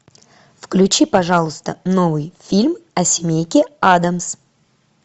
включи пожалуйста новый фильм о семейке аддамс